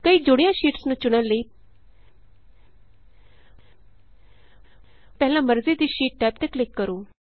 ਕਈ ਜੁੜੀਆਂ ਸ਼ੀਟਸ ਨੂੰ ਚੁਣਨ ਲਈ ਪਹਿਲਾਂ ਮਰਜ਼ੀ ਦੀ ਸ਼ੀਟ ਟੈਬ ਤੇ ਕਲਿਕ ਕਰੋ